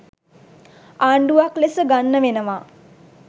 ආණ්ඩුවක් ලෙස ගන්න වෙනවා.